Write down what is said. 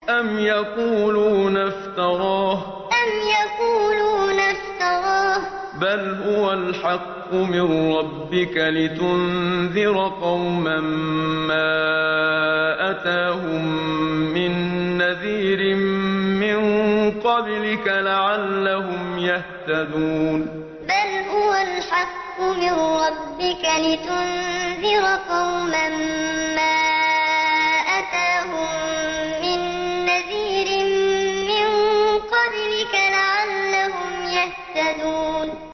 أَمْ يَقُولُونَ افْتَرَاهُ ۚ بَلْ هُوَ الْحَقُّ مِن رَّبِّكَ لِتُنذِرَ قَوْمًا مَّا أَتَاهُم مِّن نَّذِيرٍ مِّن قَبْلِكَ لَعَلَّهُمْ يَهْتَدُونَ أَمْ يَقُولُونَ افْتَرَاهُ ۚ بَلْ هُوَ الْحَقُّ مِن رَّبِّكَ لِتُنذِرَ قَوْمًا مَّا أَتَاهُم مِّن نَّذِيرٍ مِّن قَبْلِكَ لَعَلَّهُمْ يَهْتَدُونَ